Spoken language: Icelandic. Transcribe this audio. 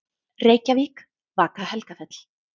Reykjavík: Vaka-Helgafell.